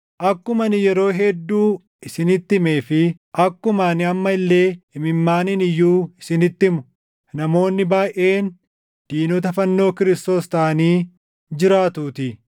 Akkuma ani yeroo hedduu isinitti himee fi akkuma ani amma illee imimmaaniin iyyuu isinitti himu, namoonni baayʼeen diinota fannoo Kiristoos taʼanii jiraatuutii.